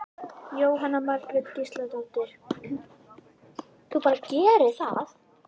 Jóhanna Margrét Gísladóttir: Þú bara gerir það?